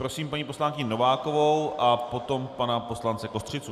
Prosím paní poslankyni Novákovou a potom pana poslance Kostřicu.